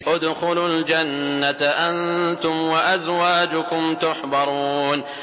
ادْخُلُوا الْجَنَّةَ أَنتُمْ وَأَزْوَاجُكُمْ تُحْبَرُونَ